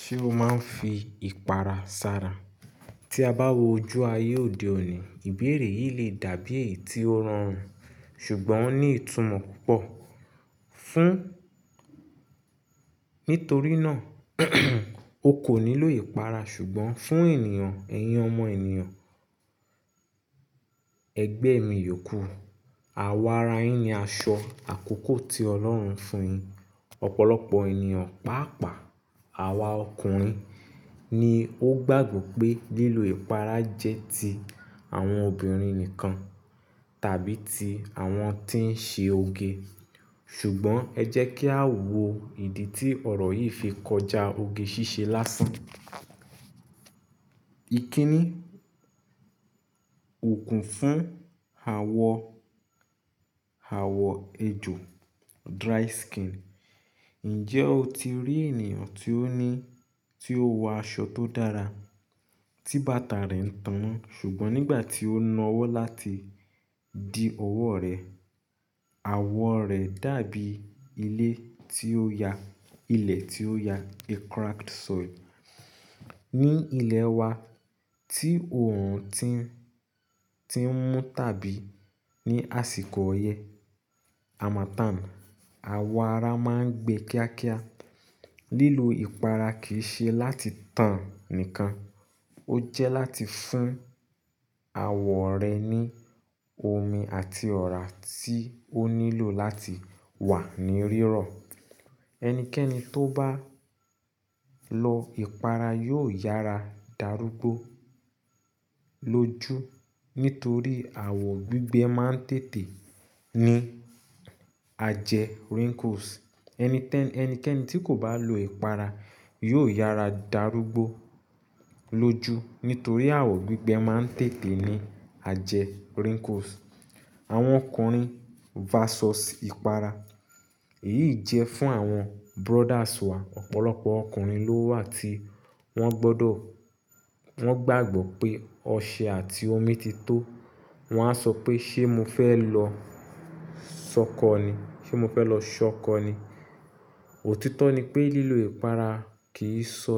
Ṣé o máa ń fi ìpara sara? Tí a bá wo ojú ayé òde òní, ìbéèrè yìí lè dàbí èyí tí ó rọrùn ṣùgbọ́n ó ní ìtumọ̀ púpọ̀ fún-- nítorí náà o kò nílò ìpara ṣùgbọ́n fún ènìyàn, ẹ̀yìn ọmọ ènìyàn, ẹgbẹ́ mi yòókù, àwa ara yín ni aṣọ àkókò tí Ọlọ́run fún yin. Ọ̀pọ̀lọpọ̀ ènìyàn, pàápàá àwa ọkùnrin ni ó gbàgbọ́ pé lílo ìpara jẹ́ ti àwọn obìnrin nìkan tàbí ti àwọn tí ń ṣe oge. Ṣùgbọ́n ẹ jẹ́ kí a wo ìdí tí ọ̀rọ̀ yìí fi kọjá oge ṣíṣe lásán. Ikini, òkun fún awọ, àwọ̀ ejò, dry skin. Ǹjẹ́ o ti rí ènìyàn tí ó ní, tí ó ń wọ aṣọ tó dára, tí bàtà rẹ̀ ń tanná ṣùgbọ́n nígbà tí ó na ọwọ́ láti di ọwọ́ rẹ̀, àwọ̀ rẹ̀ dàbí ilé tí ó ya, ilẹ̀ tí ó ya, a cracked soil. Ni ilẹ̀ wa tí òòrùn ti, ti ń mú tàbí ní àsìkò ọyẹ, harmattan, àwọ̀ ara máa ń gbe kíákíá. Lílo ìpara kì í ṣe láti tàn nìkan, ó jẹ́ láti fún àwọ̀ rẹ ní omi àti ọ̀rá tí ó nílò láti wà ní rírọ̀. Ẹnikẹ́ni tó bá lọ ìpara yóò yára darúgbó lóju nítorí àwọ̀ gbígbẹ máa ń tètè ní ajẹ, wrinkles. Ẹnikẹ́ni, ẹnikẹ́ni tí kò bá lo ìpara yóò yára darúgbó lóju nítorí àwọ̀ gbígbẹ máa ń tètè ní ajẹ, wrinkles. Àwọn ọkùnrin versus ìpara. Èyí jẹ́ fún àwọn brothers wa. Ọ̀pọ̀lọpọ̀ ọkùnrin ló wà tí wọ́n gbọdọ̀, wọ́n gbàgbọ́ pé ọṣẹ àti omi ti tó, wọ́n á sọ pé ṣé mo fẹ́ lọ sọ́kọ ni, ṣé mo fẹ́ lọ ṣọ́kọ ni. Òtítọ́ ni pé lílo ìpara kì í sọ,